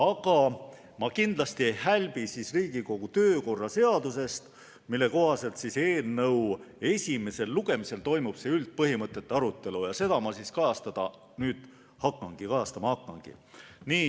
Aga ma kindlasti ei hälbi Riigikogu kodu- ja töökorra seadusest, mille kohaselt eelnõu esimesel lugemisel toimub üldpõhimõtete arutelu ja seda ma kajastama hakkangi.